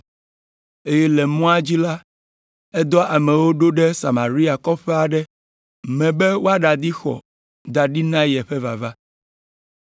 eye le mɔa dzi la, edɔ amewo ɖo ɖe Samaria kɔƒe aɖe me be woaɖadi xɔ da ɖi na yeƒe vava.